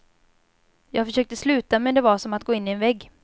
Jag försökte sluta, men det var som att gå in i en vägg.